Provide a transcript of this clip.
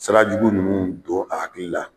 Sira jugu ninnu don a hakili la